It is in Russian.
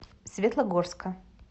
светлогорска